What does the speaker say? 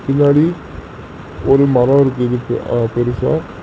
முன்னாடி ஒரு மரோ இருக்குதுக்கு ஆ பெருசா.